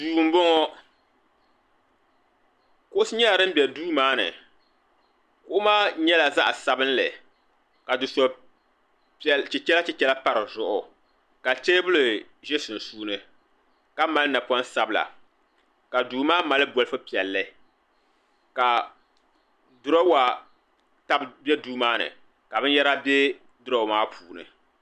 Duu m boŋɔ kuɣusi nyɛla din be duu maa ni kuɣu maa nyɛla zaɣa sabinli ka dufe'chichɛrachichɛra pa di zuɣu ka teebuli ʒɛ sunsuuni ka mali napoŋ sabla ka duu maa mali bolifu piɛlli ka dirowa tabi be duu maani ka binyahari be dirawa maa puuni.